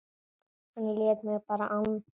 Hann lét mig bara anda.